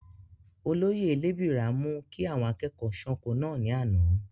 olóyè lébìrà mú kí àwọn akẹ́kọ̀ọ́ sánko náà ní àná